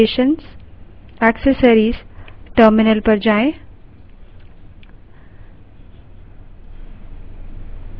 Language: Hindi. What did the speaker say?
अब applications> accessories> terminal पर जाएँ